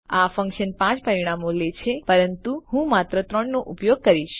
આ ફન્કશન 5 પરિમાણો લે છે પરંતુ હું માત્ર 3 નો ઉપયોગ કરીશ